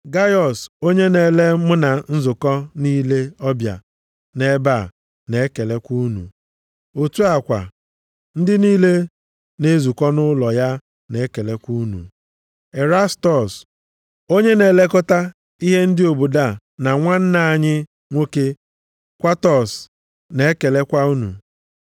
Gaiọs, onye na-ele mụ na nzukọ niile ọbịa nʼebe a, na-ekelekwa unu. Otu a kwa, ndị niile na-ezukọ nʼụlọ ya na-ekelekwa unu. Erastọs, onye na-elekọta ihe ndị obodo a na nwanna anyị nwoke Kwatọs, na-ekelekwa unu.